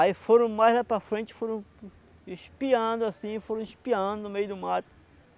Aí foram mais lá para frente, foram espiando assim, foram espiando no meio do mato.